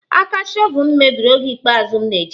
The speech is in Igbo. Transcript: Aka shọvel m mebiri oge ikpeazụ m na-eji ya